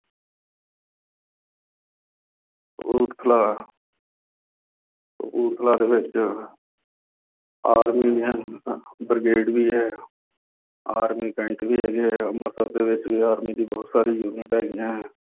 ਕਪੂਰਥਲਾ, ਕਪੂਰਥਲਾ ਦੇ ਵਿੱਚ army ਹੈ, ਬ੍ਰਿਗੇਡ ਵੀ ਹੈ। Army cant ਵੀ ਹੈਗੇ ਆ, ਅੰਮਿ੍ਤਸਰ ਦੇ ਵਿੱਚ ਵੀ army ਦੀਆਂ ਬਹੁਤ ਸਾਰੀਆਂ unit ਹੈਗੀਆਂ।